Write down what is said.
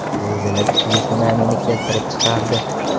Zilzila kuchli sunamini keltirib chiqardi.